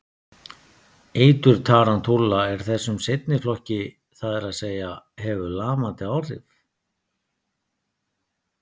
Eitur tarantúla er þessum seinni flokki, það er að segja hefur lamandi áhrif.